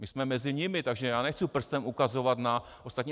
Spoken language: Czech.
My jsme mezi nimi, takže já nechci prstem ukazovat na ostatní.